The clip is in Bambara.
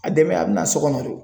A dɛmɛn a bɛ na so kɔnɔ de o.